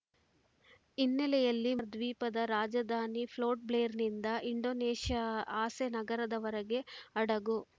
ಹಿನ್ನೆಲೆಯಲ್ಲಿ ಮ ದ್ವೀಪದ ರಾಜಧಾನಿ ಪೋರ್ಟ್‌ಬ್ಲೇರ್‌ನಿಂದ ಇಂಡೋನೇಷ್ಯಾದ ಅಸೆ ನಗರದವರೆಗೆ ಹಡಗು